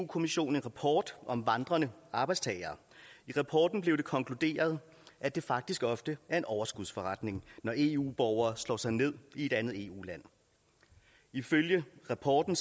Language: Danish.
kommissionen en rapport om vandrende arbejdstagere i rapporten blev det konkluderet at det faktisk ofte er en overskudsforretning når eu borgere slår sig ned i et andet eu land ifølge rapporten